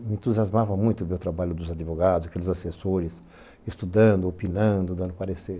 Me entusiasmava muito ver o trabalho dos advogados, aqueles assessores, estudando, opinando, dando o parecer.